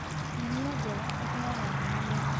Irio njega iheaga hinya mwĩri